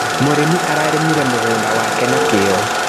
Mũrĩmi ararĩmire mũgũnda wake na kĩo.